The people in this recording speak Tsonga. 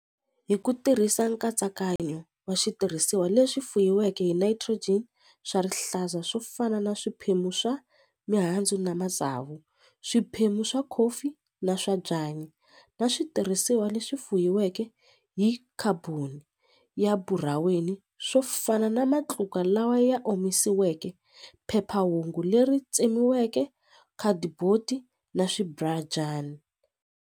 Hi ku tirhisa nkatsakanyo wa switirhisiwa leswi fuyiweke hi nitrogen swa rihlaza swo fana na swiphemu swa mihandzu na matsavu swiphemu swa coffee na swa byanyi na switirhisiwa leswi fuyiweke hi carbon ya buraweni swo fana na matluka lawa ya omisiweke phephahungu leri tsemiweke khadiboti na .